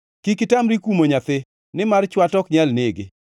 Kik itamri kumo nyathi; nimar chwat ok nyal nege.